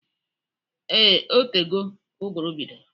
Ee, otego ụgụrụ bidoro